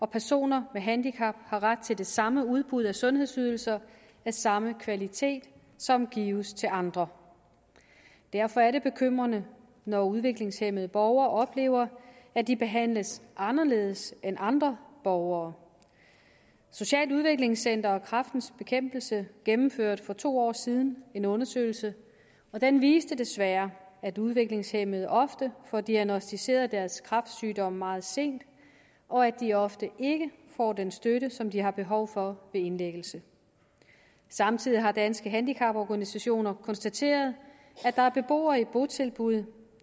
personer med handicap har ret til det samme udbud af sundhedsydelser af samme kvalitet som gives til andre derfor er det bekymrende når udviklingshæmmede borgere oplever at de behandles anderledes end andre borgere socialt udviklingscenter og kræftens bekæmpelse gennemførte for to år siden en undersøgelse og den viste desværre at udviklingshæmmede ofte får diagnosticeret deres kræftsygdom meget sent og at de ofte ikke får den støtte som de har behov for ved indlæggelsen samtidig har danske handicaporganisationer konstateret at der er beboere i botilbud